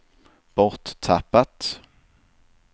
borttappat